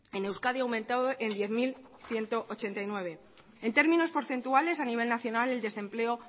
en euskadi ha aumentado en diez mil ciento ochenta y nueve en términos porcentuales a nivel nacional el desempleo